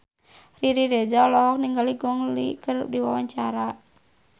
Riri Reza olohok ningali Gong Li keur diwawancara